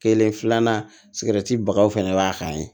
Kelen filanan bagaw fɛnɛ b'a kan ye